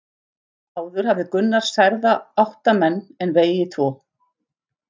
Áður hafði Gunnar særða átta menn en vegið tvo.